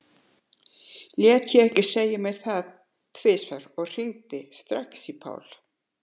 Lét ég ekki segja mér það tvisvar og hringdi strax í Pál.